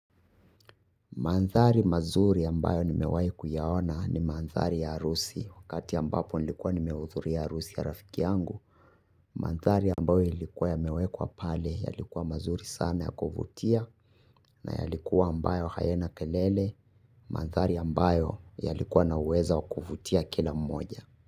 Mandhari mazuri ambayo nimewahi kuyaona ni mandhari ya harusi, wakati ambapo nilikuwa nimehudhuria harusi ya rafiki yangu. Mandhari ambayo ilikuwa yamewekwa pale yalikuwa mazuri sana ya kuvutia na yalikuwa ambayo hayana kelele. Mandhari ambayo yalikuwa na uwezo wa kuvutia kila mmoja.